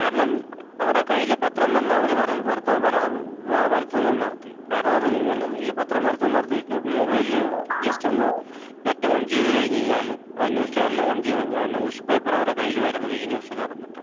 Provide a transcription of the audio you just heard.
കാരണം അവരെ കയ്യില് പത്രം തന്നെ അവര് വരുത്തുന്നത് നിർത്തി. കാരണംന്ന് പറഞ്ഞ് കഴിഞ്ഞാല്, ഈ പത്രം വരുത്തുന്നെ നിർത്തി, ഇപ്പം മൊബൈലില് ജസ്റ്റ് ഒന്ന് നെറ്റ് ഓൺ ചെയ്ത് കഴിഞ്ഞ് കഴിഞ്ഞാല്, അതായത് ന്യൂസ് ചാനൽ ഓൺ ചെയ്ത് കഴിഞ്ഞാല് ന്യൂസ് പേപ്പറ് അവരെ കയ്യില് വരുന്നുണ്ട്. ഇ-ന്യൂസ്ന്ന് പറഞ്ഞിട്ട്.